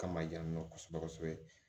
Kama yan nɔ kosɛbɛ kosɛbɛ